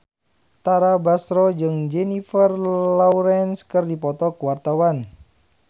Tara Basro jeung Jennifer Lawrence keur dipoto ku wartawan